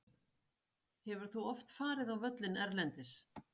Hefur þú oft farið á völlinn erlendis?